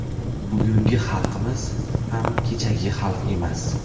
Bugungi xalqimiz ham kechagi xalq emas.